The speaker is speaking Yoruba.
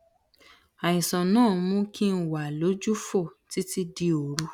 àìsàn náà ń mú kí n wà lójúfò títí di òru